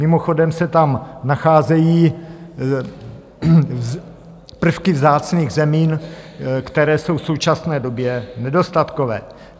Mimochodem se tam nacházejí prvky vzácných zemin, které jsou v současné době nedostatkové.